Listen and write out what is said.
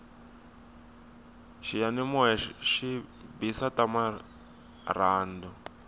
xiyanimoya xi bisa ta marhandu